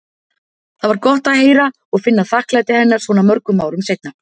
Það var gott að heyra og finna þakklæti hennar svona mörgum árum seinna.